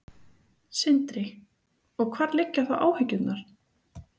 Sindri: Og hvar liggja þá áhyggjurnar?